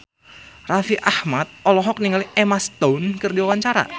Raffi Ahmad olohok ningali Emma Stone keur diwawancara